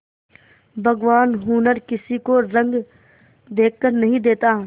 भगवान हुनर किसी को रंग देखकर नहीं देता